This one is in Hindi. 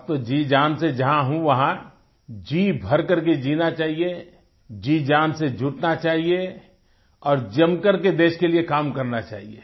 अब तो जीजान से जहाँ हूँ वहाँ जी भरकर के जीना चाहिए जीजान से जुटना चाहिए और जमकर के देश के लिए काम करना चाहिए